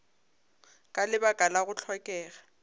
ka lebaka la go hlokega